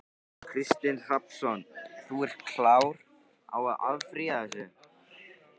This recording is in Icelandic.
Kristinn Hrafnsson: Þú ert klár á að áfrýja þessu?